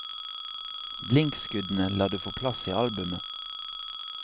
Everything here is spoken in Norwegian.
Blinkskuddene lar du få plass i albumet.